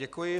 Děkuji.